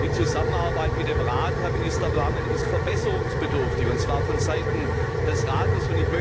Die Zusammenarbeit mit dem Rat, Herr Minister Wammen, ist verbesserungsbedürftig und zwar von Seiten des Rates.